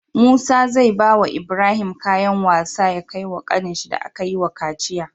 Musa zai bawa Ibrahim kayan wasa ya kai wa kanin shi da akayi wa kaciya